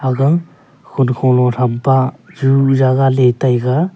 aga khonkho lo thampa ju jagah le taga.